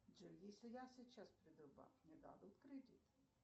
джой если я сейчас приду в банк мне дадут кредит